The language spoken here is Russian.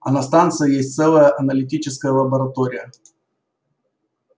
а на станции есть целая аналитическая лаборатория